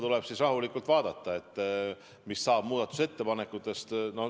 Tuleb rahulikult vaadata, mis saab muudatusettepanekutest.